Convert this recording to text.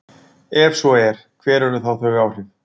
Ef svo er, hver eru þá þau áhrif?